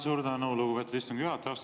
Suur tänu, lugupeetud istungi juhataja!